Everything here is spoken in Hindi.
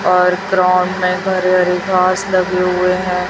और ग्राउंड में हरे हरे घास लगे हुए हैं।